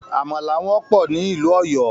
Àmàlà wọ́pọ̀ ní ìlú Òyọ́